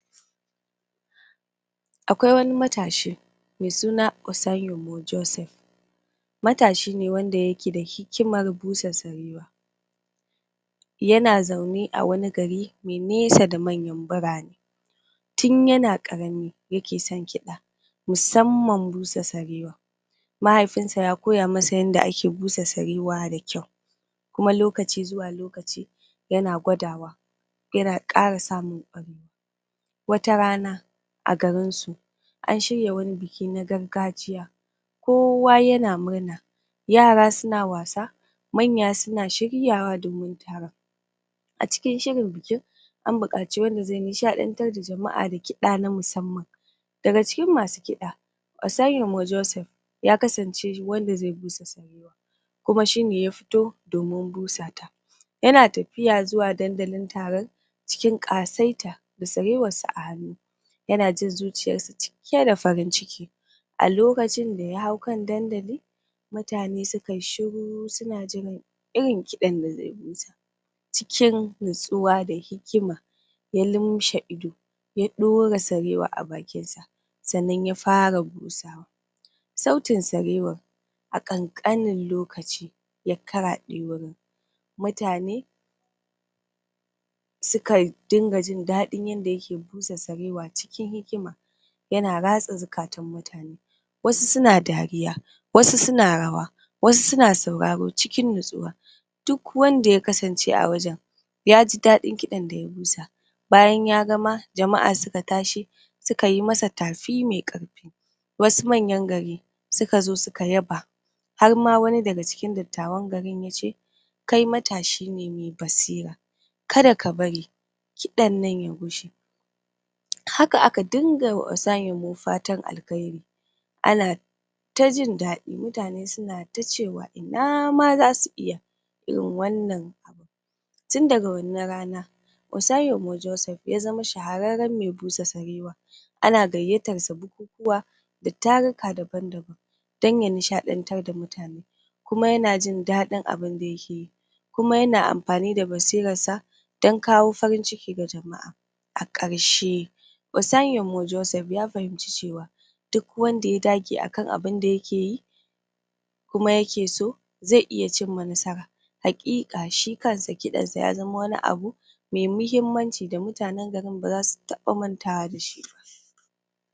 Akwai wani matashi, me suna Osayiwo Joseph matashi ne wanda yake da hikimar busa sarewa, yana zaune a wani gari me nesa da manyan birane, tun yana ƙarami yake son kiɗa, musamman busa sarewa, mahaifin sa ya koya masa yadda ake busa sarewa da kyau kuma lokaci zuwa lokaci yana gwadawa yana ƙara samun wata rana a garin su, an shirya wani biki na gargajiya kowa yana murna yara suna wasa, manya suna shiryawa domin taron a cikin shirin bikin an buƙaci wanda zai nishaɗantar da jama'a da kiɗa na musamman daga cikin masu kiɗa Osayimo Joseph ya kasance wanda zai busa sarewa kuma shine ya fito domin busa ta yana tafiya zuwa dandalin taron cikin ƙasaita da sarewar sa a hannu, yana jin zuciyar sa cike da farin ciki, a lokacin da ya hau kan dandali, mutane suka yi shiru suna jiran irin kiɗan da zai busa, cikin natsuwa da hikima, ya limshe ido ya ɗora sarewa a bakin sa sannan ya fara busa sautin sarewan a ƙanƙanin lokaci ya karaɗe wurin, mutane suka dinga jin daɗin yadda yake busa sarewa cikin hikima yana ratsa zukatan mutane wasu suna dariya, wasu suna rawa, wasu suna sauraro cikin nutsuwa, duk wanda ya kasance a wajen yaji daɗin kiɗan da ya busa, bayan ya gama jama'a suka tashi suka yi masa tafi mai ƙarfi wasu manyan gari suka zo suka yaba, har ma wani daga cikin dattawan gari yace, kai matashi ne me basira kada ka bari kiɗan nan ya gushe haka aka dinga wa Osayimo fatan alheri ana ta jin daɗi mutane suna ta cewa ina ma zasu iya irin wannan tun daga wannan rana Osayimo Joseph ya zama shahararren me busa sarewa ana gayyatar sa bukukuwa da taruka daban-daban dan ya nishaɗantar da mutane kuma yana jin daɗin abinda yake yi kuma yana amfani da basirar sa dan kawo farin ciki ga jama'a a ƙarshe Osayimo Joseph ya fahimci cewa duk wanda ya dage a kan abinda yake yi, kuma yake so, zai iya cimma nasara, haƙiƙa shi kan sa kiɗan sa ya zama wani abu me mahimmanci da mutanen garin ba zasu taba mantawa da shi ba.